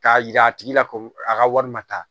K'a yira a tigi la ko a ka wari ma taa